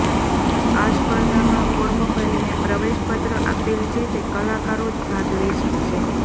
આ સ્પર્ધામાં ફોર્મ ભરીને પ્રવેશ પત્ર આપેલ છે તે કલાકારો જ ભાગ લઈ શકશે